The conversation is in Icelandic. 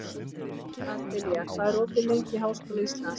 Adelía, hvað er opið lengi í Háskóla Íslands?